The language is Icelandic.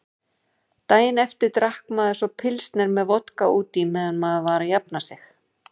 Daginn eftir drakk maður svo pilsner með vodka útí meðan maður var að jafna sig.